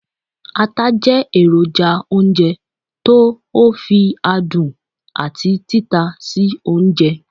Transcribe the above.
ata je eroja ounjẹ to o fi adun ati tita sí ounjẹ